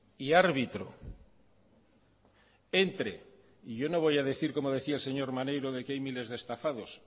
y árbitro entre y yo no voy a decir como decía el señor maneiro de que hay miles de estafados